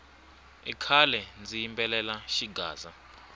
i khale ndzi yimbelela xigaza